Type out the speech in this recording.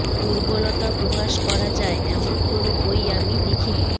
দুর্বলতা প্রকাশ করা যায় এমন কোনো বই আমি লিখিনি